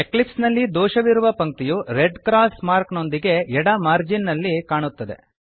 Eclipse ನಲ್ಲಿ ದೋಷವಿರುವ ಪಂಕ್ತಿಯು ರೆಡ್ ಕ್ರಾಸ್ ಮಾರ್ಕ್ ನೊಂದಿಗೆ ಎಡ ಮಾರ್ಜಿನ್ ನಲ್ಲಿ ಕಾಣುತ್ತದೆ